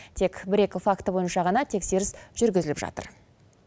тек бір екі факті бойынша ғана тексеріс жүргізіліп жатыр